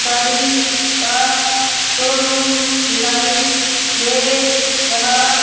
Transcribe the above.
गाड़ी का शोरूम दिखाई दे रहा--